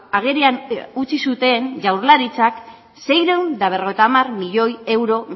agerian utzi zuten jaurlaritzak seiehun eta berrogeita hamar milioi euro